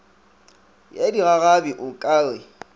ya digagabi o ka re